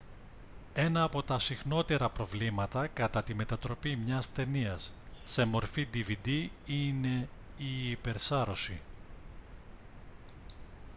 ένα από τα συχνότερα προβλήματα κατά τη μετατροπή μια ταινίας σε μορφή dvd είναι η υπερσάρωση